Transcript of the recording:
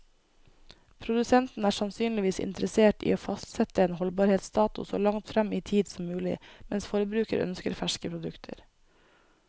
Produsenten er sannsynligvis interessert i å fastsette en holdbarhetsdato så langt frem i tid som mulig, mens forbruker ønsker ferske produkter.